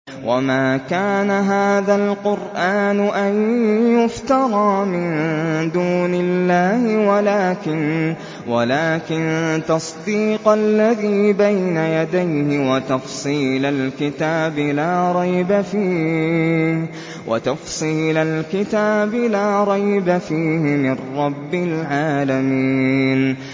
وَمَا كَانَ هَٰذَا الْقُرْآنُ أَن يُفْتَرَىٰ مِن دُونِ اللَّهِ وَلَٰكِن تَصْدِيقَ الَّذِي بَيْنَ يَدَيْهِ وَتَفْصِيلَ الْكِتَابِ لَا رَيْبَ فِيهِ مِن رَّبِّ الْعَالَمِينَ